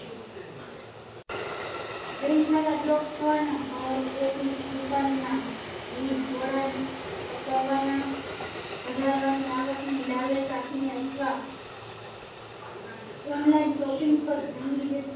Bank ખાતા Block થવાના, ઘર, Office દુકાન ના વીજ જોડાણ કપાવવાના વધારવા ની આવક ની લાલચ આપી ને અથવા Online Shopping પર જંગી Dis